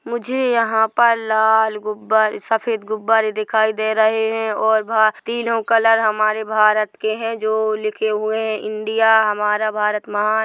मुझे यहाँ पर लाल गुब्बारे सफेद गुब्बारे दिखाई दे रहे है और वहाँ तीनो कलर हमारे भारत के है जो लिखे हुए है इंडिया हमारा भारत महान--